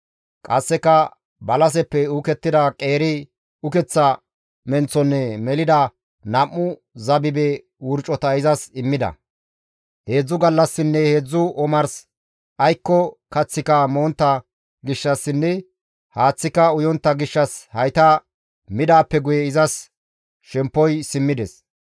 Qasseka balaseppe uukettida qeeri ukeththa menththonne melida nam7u zabibe wurcota izas immida. Heedzdzu gallassinne heedzdzu omars aykko kaththika montta gishshassinne haaththika uyontta gishshas hayta midaappe guye izas shemppoy simmides.